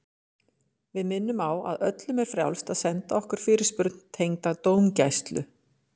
Við minnum á að öllum er frjálst að senda okkur fyrirspurn tengda dómgæslu.